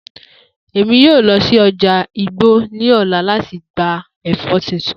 Emi yoo lọ si ọja igbo ni ọla lati gba ẹfọ tuntun.